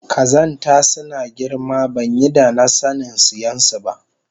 Kazanta sunada girma banyi danasanin siyansu ba